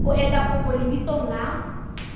o etsa kopo lebitsong la